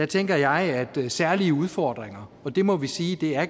tænker jeg at særlige udfordringer og det må vi sige